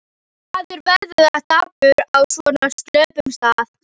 Maður verður bara dapur á svona slöppum stað.